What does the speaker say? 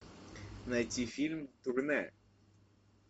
найти фильм турне